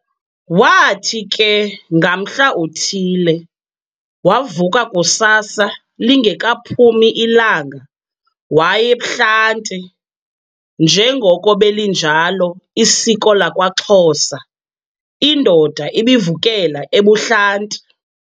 Waathi ke ngamhla uthile, wavuka kusasa lingekaphumi ilanga way'ebuhlanti, njengoko belinjalo isiko lakwaXhosa, indoda ibivukela ebuhlanti.